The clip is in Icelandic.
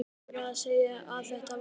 Krakkarnir voru að segja að þetta væri